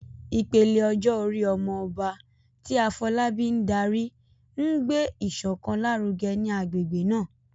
Ìpele ọjọ́ orí "Omo Oba," tí Afolabi ń darí, ń gbé ìṣọ̀kan lárugẹ ní agbègbè náà.